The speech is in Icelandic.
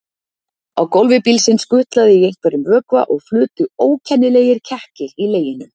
Á gólfi bílsins gutlaði í einhverjum vökva og flutu ókennilegir kekkir í leginum.